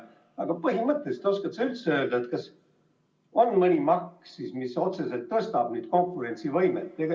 Aga oskad sa öelda, kas on üldse mõni maks, mis otseselt parandaks konkurentsivõimet?